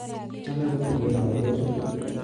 Chome kobirge lakochu